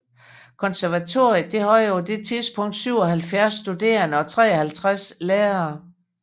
Konservatoriet havde på det tidspunkt 77 studerende og 53 lærere